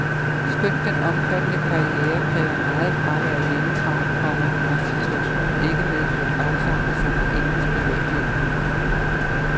Skønt den omfattende karriere kræver meget fravær hjemmefra, komma har situationen ikke medført afsavn i sangerindens privatliv. punktum